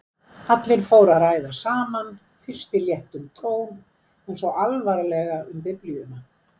Allir fóru að ræða saman, fyrst í léttum tón en svo alvarlega um biblíuna.